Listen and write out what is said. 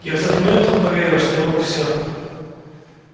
я в тот момент он верил что я могу всё